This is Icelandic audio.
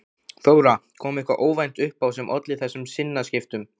Þóra: Kom eitthvað óvænt upp á sem olli þessum sinnaskiptum?